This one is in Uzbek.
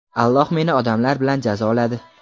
Alloh meni odamlar bilan jazoladi..